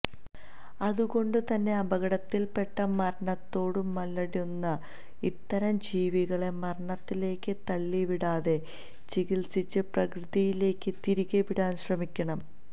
അതുകൊണ്ടുതന്നെ അപകടത്തിൽപ്പെട്ട് മരണത്തോടു മല്ലിടുന്ന ഇത്തരം ജീവികളെ മരണത്തിലേക്ക് തള്ളിവിടാതെ ചികിത്സിച്ച് പ്രകൃതിയിലേക്ക് തിരികെ വിടാൻ ശ്രമിക്കണം